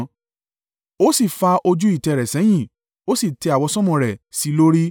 Ó sì fa ojú ìtẹ́ rẹ̀ sẹ́yìn, ó sì tẹ àwọsánmọ̀ rẹ̀ sí i lórí.